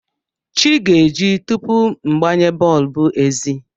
Chi ga-eji tupu m gbanye bọlbụ ezi.